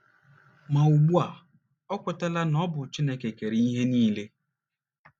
Ma ugbu a, o kwetala na ọ bụ Chineke kere ihe niile.